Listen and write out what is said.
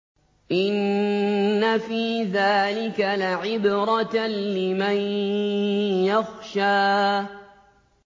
إِنَّ فِي ذَٰلِكَ لَعِبْرَةً لِّمَن يَخْشَىٰ